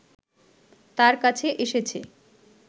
তার কাছে এসেছে